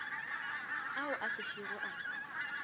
ao a se šego a